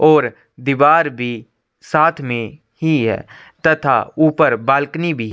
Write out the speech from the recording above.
और दिवार भी साथ में ही है तथा ऊपर बालकनी भी--